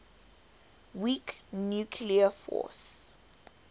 weak nuclear force